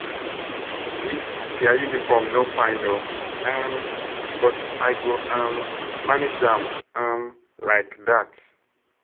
Dis their uniform no fine oo um but I go um manage am um like dat